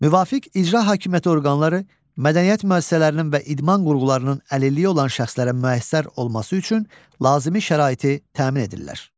Müvafiq icra hakimiyyəti orqanları mədəniyyət müəssisələrinin və idman qurğularının əlilliyi olan şəxslərə müəssər olması üçün lazımi şəraiti təmin edirlər.